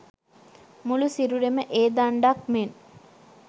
මුළු සිරුරම ඒ දණ්ඩක් මෙන්